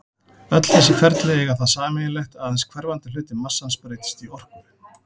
Öll þessi ferli eiga það sameiginlegt að aðeins hverfandi hluti massans breytist í orku.